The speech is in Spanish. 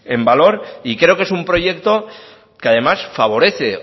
en valor y creo que es un proyecto que además favorece